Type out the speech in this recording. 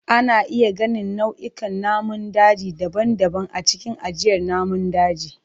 Ana iya ganin nau'ikan namun daji daban-daban a cikin ajiyar namun daji.